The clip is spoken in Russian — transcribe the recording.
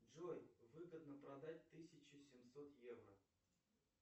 джой выгодно продать тысячу семьсот евро